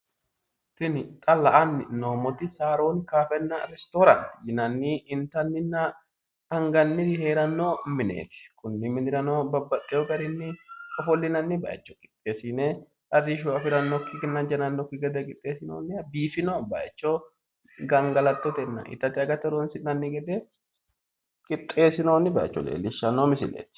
Tinni xa la'anni noomoti saaroonni kaafenna restooraanti yinnanni intanninna anganniri heerano mineeti konirano babbaxeo garinni ofolinnanni bayicho qixeesine arishu afiranokinna jannanoki gede qixeesinoonniha biifino bayicho gangallatottenna itatte agate horoonsi'nanni gede qixeesinoonni bayicho leelishano misileeti.